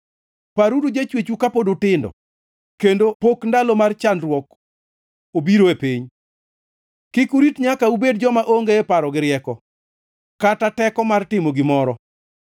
Paruru jachwechu kapod utindo, kendo pok ndalo mar chandruok obiro e piny. Kik urit nyaka ubed joma onge paro gi rieko, kata teko mar timo gimoro,